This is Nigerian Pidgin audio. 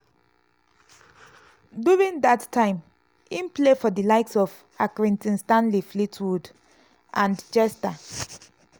during dat time im play for di likes of accrington stanley fleetwood and chester.